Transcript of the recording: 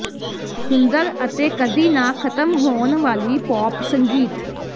ਸੁੰਦਰ ਅਤੇ ਕਦੀ ਨਾ ਖਤਮ ਹੋਣ ਵਾਲੀ ਪੌਪ ਸੰਗੀਤ